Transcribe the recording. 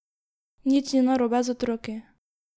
Nič ni narobe z otroki.